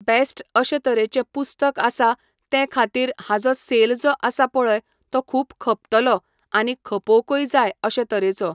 best अशें तरेचें पुस्तक आसा ते खातीर हाजो सेल जो आसा पळय तो खूब खपतलो आनी खपोकूय जाय अशें तरेचो